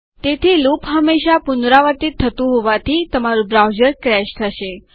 તેથી લૂપ હંમેશા પુનરાવર્તિત થતું હોવાથી તમારું બ્રાઉઝર ક્રેશ થશે